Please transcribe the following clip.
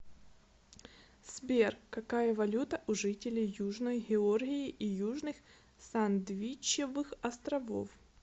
сбер какая валюта у жителей южной георгии и южных сандвичевых островов